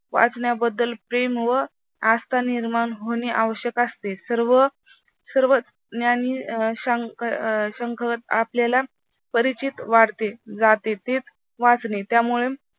वाचण्याबद्दल प्रेम व आस्था निर्माण होणे आवश्यक असते. सर्व ज्ञानी व आपल्याला परिचित वाढते जाते वाचणे त्यामूळे